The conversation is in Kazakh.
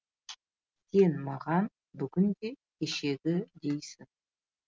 сен маған бүгін де кешегідейсің